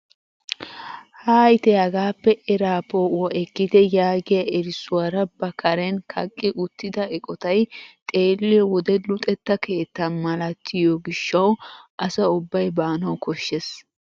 "Hayitte hagaappe eraa po"uwaa ekkite" yaagiyaa erissuwaara ba karen kaqqi uttida eqotay xeelliyoo wode luxetta keetta malatiyoo gishshawu asa ubbay baanawu koshshees.